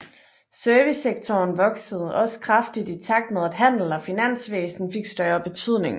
Servicesektoren voksede også kraftigt i takt med at handel og finansvæsen fik større betydning